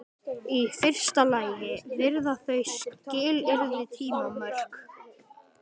Í fyrsta lagi varða þau skilyrði tímamörk.